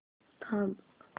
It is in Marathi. थांब